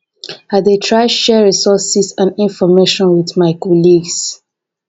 i dey try to share resources and information with my colleagues